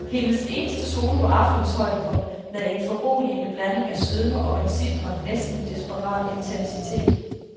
Hendes eneste solo var aftenens højdepunkt med en foruroligende blanding af sødme og en sitrende, næsten desperat intensitet.